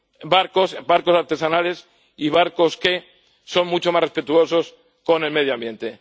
barcos, los barcos artesanales y los barcos que son más respetuosos con el medio ambiente.